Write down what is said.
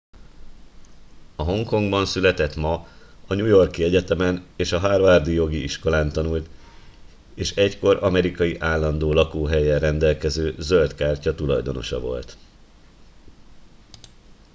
a hongkongban született ma a new york i egyetemen és a harvard i jogi iskolán tanult és egykor amerikai állandó lakóhellyel rendelkező zöld kártya tulajdonosa volt